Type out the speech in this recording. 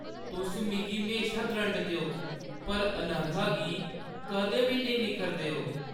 तुस मिगी म्हेशा द्रंडदे ओ, पर अनघा गी कदें बी नेईं निक्खरदे ओ?